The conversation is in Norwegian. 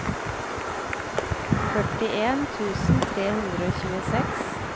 førtien tusen tre hundre og tjueseks